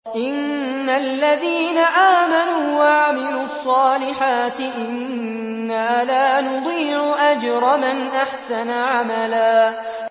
إِنَّ الَّذِينَ آمَنُوا وَعَمِلُوا الصَّالِحَاتِ إِنَّا لَا نُضِيعُ أَجْرَ مَنْ أَحْسَنَ عَمَلًا